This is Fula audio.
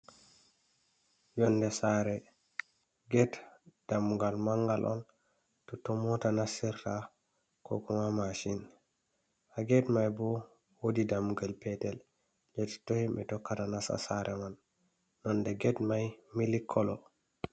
Yonde sare ged dammugal mangal on, totton mota nastirta ko kuma mashin. Ha get mai bo wodi dammugal petel hediton himɓi tokkata nasta sare man, nonde ged mai mili koolo.